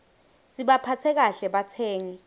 sibaphatse kahle batsengi